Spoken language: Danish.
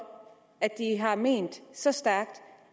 at de har ment så stærkt